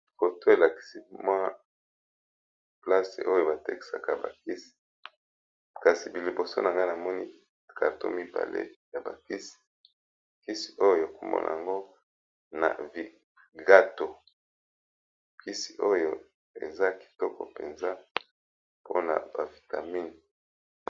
Photo elakisi place oyo batekisaka bakisi kasi liboso na nga namoni, karto mibale ya bakisi oyo kombo nango vigato kisi oyo eza kitoko penza pona ba vitamine.